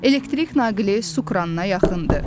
elektrik naqili sukranına yaxındır.